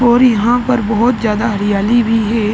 और यहाँ पर बोहोत ज्यादा हरियाली भी है।